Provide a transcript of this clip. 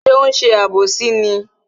Ṣé ó ń ṣe àbòsí ni?